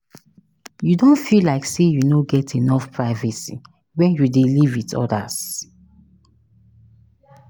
You don feel like say you no get enough privacy when you dey live with odas?